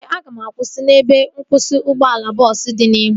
Ee, aga m akwụsị n'ebe nkwụsị ụgbọala bọọsu dị n'ihu